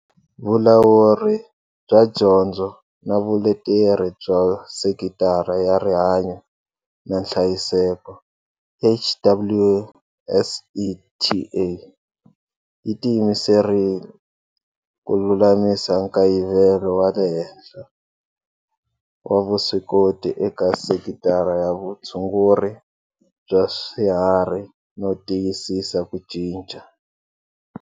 Vulawuri bya Dyondzo na Vuleteri bya Sekitara ya Rihanyu na Nhlayiseko, HWSETA yi tiyimserile ku lulamisa nkayivelo wa le henhla wa vuswikoti eka sekitara ya vutshunguri bya swiharhi no tiyisisa ku ncica.